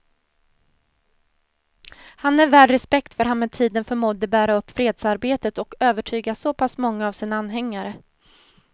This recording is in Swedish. Han är värd respekt för att han med tiden förmådde bära upp fredsarbetet och övertyga så pass många av sina anhängare.